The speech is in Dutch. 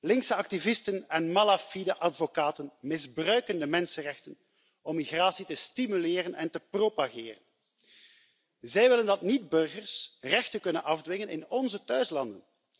Linkse activisten en malafide advocaten misbruiken de mensenrechten om migratie te stimuleren en te propageren. Zij willen dat niet burgers rechten kunnen afdwingen in onze thuislanden.